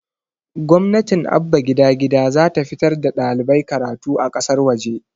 gwamnatin abba gida gida zata fitar da ɗalibai karatu a ƙasar waje